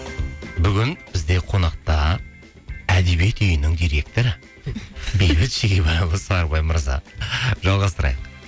бүгін бізде қонақта әдебиет үйінің директоры бейбіт шегебайұлы сарыбай мырза жалғастырайық